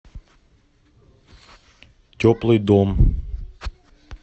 теплый дом